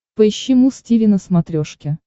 поищи муз тиви на смотрешке